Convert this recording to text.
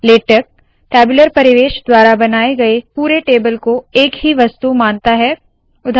LaTeX tabular परिवेश द्वारा बनाए गए पुरे टेबल को एक ही वस्तु मानता है